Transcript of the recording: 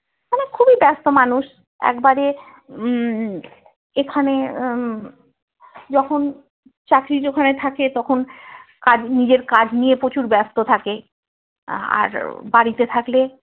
খুবই ব্যাস্ত মানুষ একবারে উম এখানে উম যখন চাকরির ওখানে থাকে তখন কাজ নিজের কাজ নিয়ে প্রচুর ব্যাস্ত থাকে আহ আর বাড়িতে থাকলে